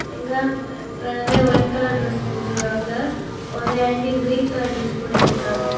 இங்க நிறைய white colour dress போட்ருக்காங்க ஒரு ஆண்டி கிரீன் கலர் டிரஸ் போட்டு நிக்கிகாங்க.